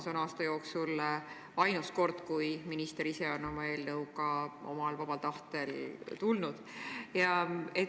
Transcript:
See on aasta jooksul ainus kord, kui minister ise on oma eelnõuga omal vabal tahtel meie fraktsiooni tulnud.